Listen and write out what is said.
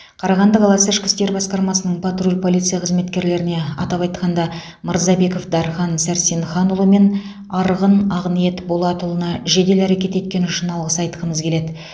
қарағанды қаласы ішкі істер басқармасының патруль полиция қызметкерлеріне атап айтқанда мырзабеков дархан сәрсенханұлы мен арғын ақниет болатұлына жедел әрекет еткені үшін алғыс айтқымыз келеді